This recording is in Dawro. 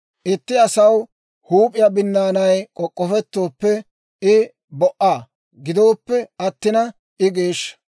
«Itti asaw huup'iyaa binnaanay k'ok'k'ofettooppe, I bo"aa; gidoppe attina I geeshsha.